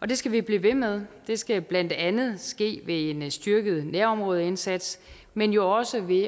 og det skal vi blive ved med det skal blandt andet ske ved en styrket nærområdeindsats men jo også ved